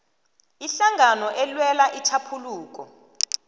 ihlangano elwela itjhaphuluko